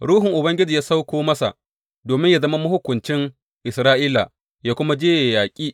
Ruhun Ubangiji ya sauko masa, domin yă zama mahukuncin Isra’ila yă kuma je yaƙi.